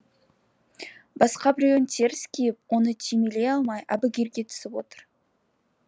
басқа біреуін теріс киіп оны түймелей алмай әбігерге түсіп отыр